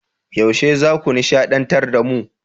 Yaushe zaku nishadantar da mu?